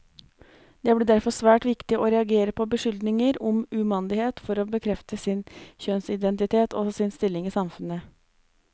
Det ble derfor svært viktig å reagere på beskyldninger om umandighet for å bekrefte sin kjønnsidentitet, og sin stilling i samfunnet.